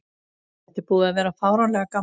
Þetta er búið að vera fáránlega gaman.